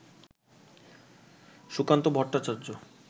Sukanta Bhattacharya